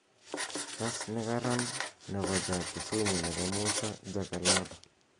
kaas nekaran nepo ja kisumu nepo musa jakalada